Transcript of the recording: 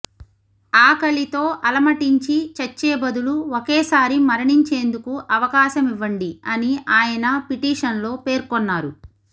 ఆకలితో అలమటించి చచ్చే బదులు ఒకేసారి మరణించేందుకు అవకాశమివ్వండి అని ఆయన పిటిషన్లో పేర్కొన్నారు